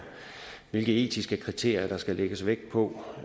hvilke etiske kriterier der skal lægges vægt på